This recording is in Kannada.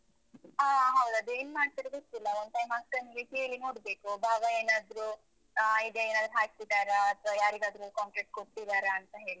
ಹ. ಹೌದು. ಅದೇನ್ ಮಾಡ್ತಾರೋ ಗೊತ್ತಿಲ್ಲ. ಒಂದ್ time ಅಕ್ಕನಿಗೆ ಕೇಳಿ ನೋಡ್ಬೇಕು. ಭಾವ ಏನಾದ್ರೂ ಆ ಈಗ ಏನಾದ್ರು ಹಾಕ್ಸಿದಾರಾ ಅಥವಾ ಯಾರಿಗಾದ್ರೂ contract ಕೊಟ್ಟಿದ್ದಾರಾಂತ ಹೇಳಿ,